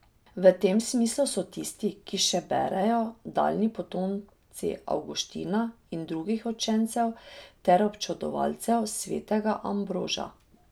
V tem smislu so tisti, ki še berejo, daljni potomci Avguština in drugih učencev ter občudovalcev svetega Ambroža.